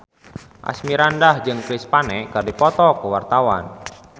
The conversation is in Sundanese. Asmirandah jeung Chris Pane keur dipoto ku wartawan